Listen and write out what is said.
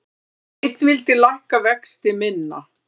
Einn vildi lækka vexti minna